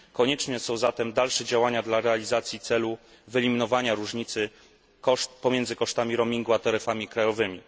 Konieczne są zatem dalsze działania dla realizacji celu wyeliminowania różnicy pomiędzy kosztami roamingu a taryfami krajowymi.